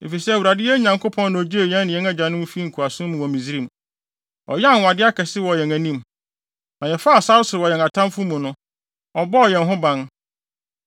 Efisɛ Awurade, yɛn Nyankopɔn na ogyee yɛn ne yɛn agyanom fii nkoasom mu wɔ Misraim. Ɔyɛɛ anwonwade akɛse wɔ yɛn anim. Na yɛfaa sare so wɔ yɛn atamfo mu no, ɔbɔɔ yɛn ho ban.